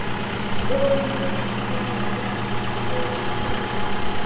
Og nú ert þú með Bjarna Fel í vinnu?